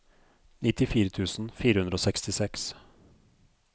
nittifire tusen fire hundre og sekstiseks